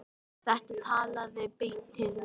Þetta talaði beint til mín.